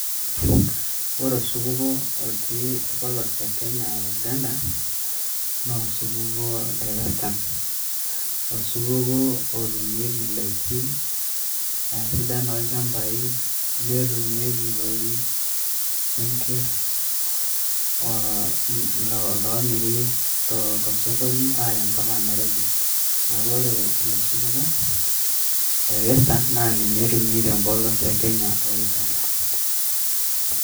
Ore esupuko otii epolos e Kenya oo Uganda, naa osupuko lee western . Osupuko otumieki ndaikin , e sidan olshambai , netumiaki rooi senker loomiri too sokoni ayaa mpaka Nairobi . Neaku ore ilo supuko lee western naa ninye aitumiaki te mpolos e Kenya oo Uganda.